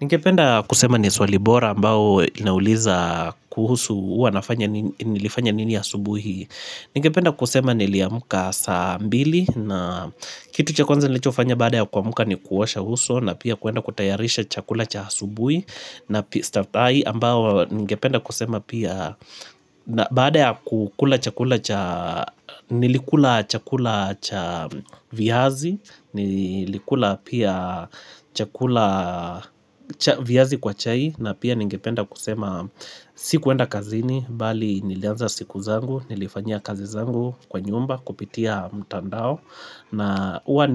Ningependa kusema ni swali bora ambao inauliza kuhusu uwanafanya nini nilifanya nini asubuhi. Ningependa kusema niliamuka saa mbili na kitu cha kwanza nilichofanya baada ya kuamka ni kuosha uso na pia kuenda kutayarisha chakula cha asubuhi. Na staftahi ambao ningependa kusema pia na baada ya kukula chakula cha nilikula chakula cha viazi Nilikula pia chakula cha viazi kwa chai na pia ningependa kusema sikuenda kazini Bali nilianza siku zangu, nilifanyia kazi zangu kwa nyumba Kupitia mtandao na uwa